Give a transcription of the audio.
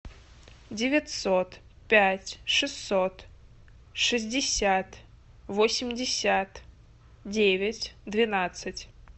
девятьсот пять шестьсот шестьдесят восемьдесят девять двенадцать